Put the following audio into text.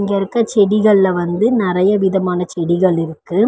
இங்க இருக்க செடிகள்ள வந்து நறைய விதமான செடிகள் இருக்கு.